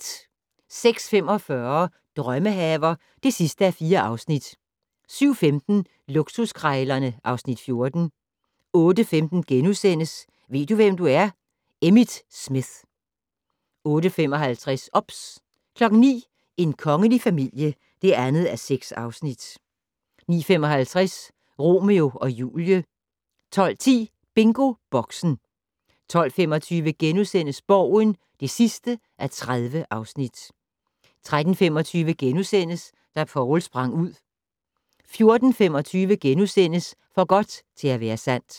06:45: Drømmehaver (4:4) 07:15: Luksuskrejlerne (Afs. 14) 08:15: Ved du, hvem du er? - Emmitt Smith * 08:55: OBS 09:00: En kongelig familie (2:6) 09:55: Romeo og Julie 12:10: BingoBoxen 12:25: Borgen (30:30)* 13:25: Da Poul sprang ud * 14:25: For godt til at være sandt *